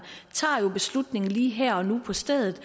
tager jo beslutningen lige her og nu og på stedet